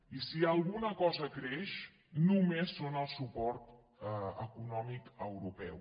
i si alguna cosa creix només és el suport econòmic europeu